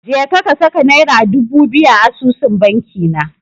Jeka ka saka Naira dubu biyu a asusun bankina.